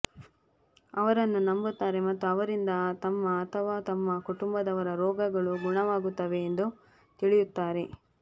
ಅವರನ್ನು ನಂಬುತ್ತಾರೆ ಮತ್ತು ಅವರಿಂದ ತಮ್ಮ ಅಥವಾ ತಮ್ಮ ಕುಟುಂಬದವರ ರೋಗಗಳು ಗುಣವಾಗುತ್ತವೆ ಎಂದು ತಿಳಿಯುತ್ತಾರೆ